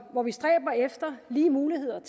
hvor vi stræber efter lige muligheder